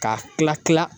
K'a kila kila kila